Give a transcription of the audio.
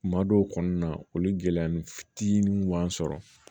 Kuma dɔw kɔnɔna olu gɛlɛya ni fitinin kun b'an sɔrɔ